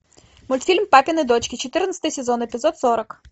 мультфильм папины дочки четырнадцатый сезон эпизод сорок